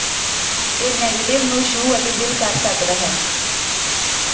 ਇਹ ਨੈਗੇਟਿਵ ਨੂੰ ਛੂਹ ਅਤੇ ਦਿਲ ਕਰ ਸਕਦਾ ਹੈ